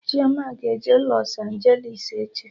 Chioma ga-eje Lọs Anjelis echi